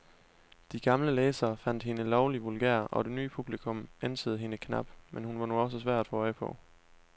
De gamle læsere fandt hende lovlig vulgær, og det nye publikum ænsede hende knap, hun var nu også svær at få øje på.